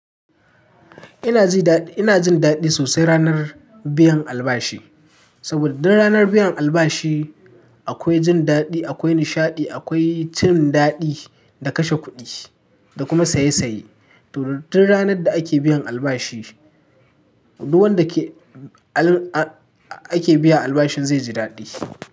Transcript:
Ina jin daɗi, ina jin daɗi sosai ranar biyan albashi. Saboda duk ranar biyan albashi akwai jin daɗi, akwai nishaɗi, akwai cin daɗi da kashe kuɗi da kuma saye saye. To, duk ranar da ake biyan albashi, duk wanda ke ake biya albashin zai ji daɗi.